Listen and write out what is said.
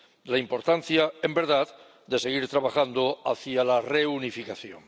la importancia, en verdad, de seguir trabajando hacia la reunificación.